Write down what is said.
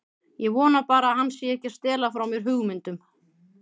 Ég vona bara að hann sé ekki að stela frá mér hugmyndum.